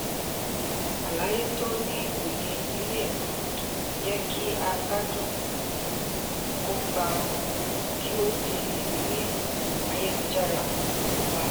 àlàyé tó ní òye le um jẹ́ kí a gbádùn kópa kí o di ìrírí ayélujára um wa.